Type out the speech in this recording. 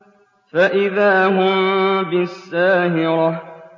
فَإِذَا هُم بِالسَّاهِرَةِ